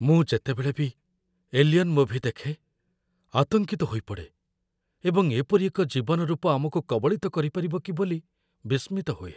ମୁଁ ଯେତେବେଳେ ବି "ଏଲିଅନ୍" ମୁଭି ଦେଖେ, ଆତଙ୍କିତ ହୋଇପଡ଼େ ଏବଂ ଏପରି ଏକ ଜୀବନ ରୂପ ଆମକୁ କବଳିତ କରିପାରିବ କି ବୋଲି ବିସ୍ମିତ ହୁଏ।